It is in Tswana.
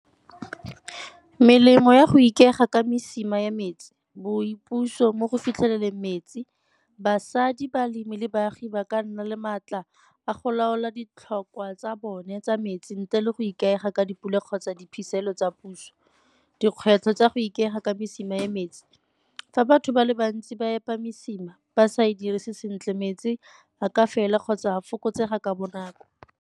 Melemo ya go ikaega ka mesima ya metsi, boipuso mo go fitlheleleng metsi. Basadi balemi le baagi ba ka nna le maatla a go laola ditlhokwa tsa bone tsa metsi ntle le go ikaega ka dipula kgotsa diphitlhelelo tsa puso. Dikgwetlho tsa go ikaega ka mesima ya metsi fa batho ba le bantsi ba epa mosima ba sa e dirise sentle metsi a ka fela kgotsa a fokotsega ka bonako.